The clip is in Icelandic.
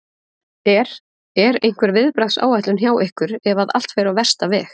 Er, er einhver viðbragðsáætlun hjá ykkur ef að allt fer á versta veg?